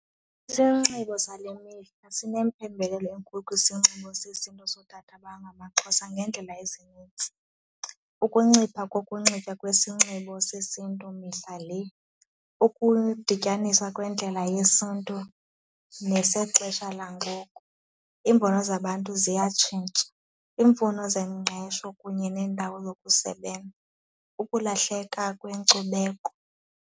Isinxibo sale mihla sinempembelelo enkulu kwisinxibo sesiNtu sotata abangamaXhosa ngeendlela ezinintsi. Ukuncipha kokunxiba kwisinxibo sesiNtu mihla le, ukudityaniswa kwendlela yesiNtu nesexesha langoku, iimbono zabantu ziyatshintsha, iimfuno zengqesho kunye neendawo zokusebenza, ukulahleka kwenkcubeko.